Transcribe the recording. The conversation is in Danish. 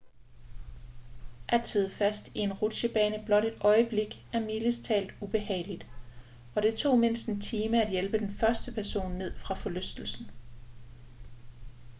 at sidde fast i en rutsjebane blot et øjeblik er mildest talt ubehageligt og det tog mindst en time at hjælpe den første person ned fra forlystelsen